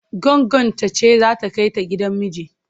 Goggonta ce za ta kai ta gidan miji.